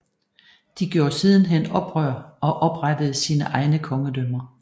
De gjorde sidenhen oprør og oprettede sine egne kongedømmer